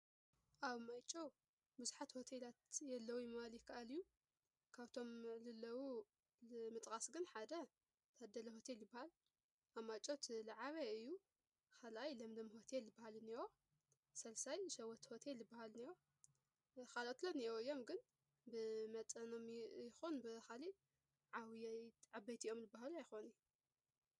ኣብ ማይጨው ብዙሓት ሆቴላት የለዉይ ኢሊካ ይካኣል እዩ፡፡ ካብቶም ልለዉ መጥራስ ግን ሓደ ታደለ ሆቴል እዩ ልበሃል፡፡ ኣብ ማይጨው ትለዓበየ እዩ፡፡ ኻልኣይ ለምለም ሆቴል ልበሃል ንኒሆ፣ ሠልሳይ ሸወት ሆቴል ልበሃል አኒኦ፡፡ ኻልኦትለ ንኔአው ዮም ፣ግን ብመጠኖም ይኾን ብኻሊእ ዓውይ ዓበይቲኦም ልበሃሉ ኣይኾንይ፡፡